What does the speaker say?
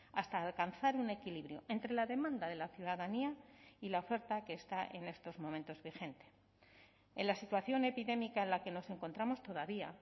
hasta alcanzar un equilibrio entre la demanda de la ciudadanía y la oferta que está en estos momentos vigente en la situación epidémica en la que nos encontramos todavía